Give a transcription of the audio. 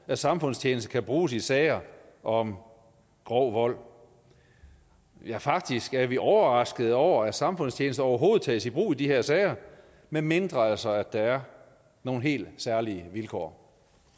at samfundstjeneste kan bruges i sager om grov vold ja faktisk er vi overraskede over at samfundstjeneste overhovedet tages i brug i de her sager medmindre altså at der er nogle helt særlige vilkår